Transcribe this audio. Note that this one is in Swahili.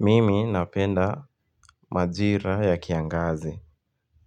Mimi napenda majira ya kiangazi